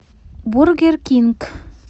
бургер кинг